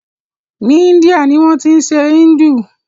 Ni Índia ni wọ́n tí ń ṣe Hindu.